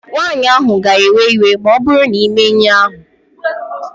Nwaanyị ahụ ga-ewe iwe ma ọbụrụ na imee ihe a